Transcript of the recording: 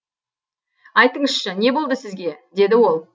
айтыңызшы не болды сізге деді ол